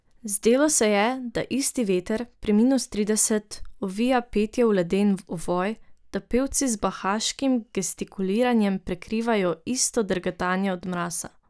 Zdelo se je, da isti veter, pri minus trideset, ovija petje v leden ovoj, da pevci z bahaškim gestikuliranjem prikrivajo isto drgetanje od mraza.